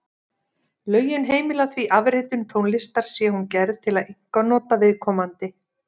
Lögin heimila því afritun tónlistar sé hún gerð til einkanota viðkomandi.